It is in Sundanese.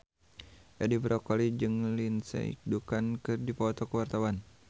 Edi Brokoli jeung Lindsay Ducan keur dipoto ku wartawan